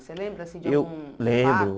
Você lembra assim de algum fato? Eu lembro